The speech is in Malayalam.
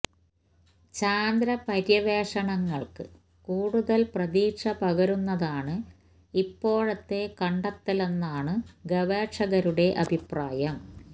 ചാന്ദ്ര പര്യവേഷണങ്ങൾക്ക് കൂടുതൽ പ്രതീക്ഷ പകരുന്നതാണ് ഇപ്പോഴത്തെ കണ്ടെത്തലെന്നാണ് ഗവേഷകരുടെ അഭിപ്രായം